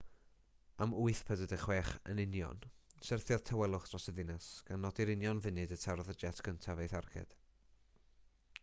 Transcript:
am 8.46 am yn union syrthiodd tawelwch dros y ddinas gan nodi'r union funud y tarodd y jet gyntaf ei tharged